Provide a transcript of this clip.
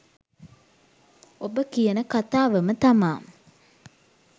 ඔබ කියන කතාවම තමා